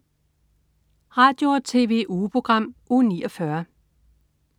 Radio- og TV-ugeprogram Uge 49